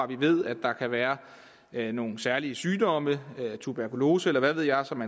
vi ved at der kan være være nogle særlige sygdomme tuberkulose eller hvad ved jeg som